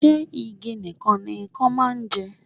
Ṣé igi nìkan ni Ikan máa ń jẹ?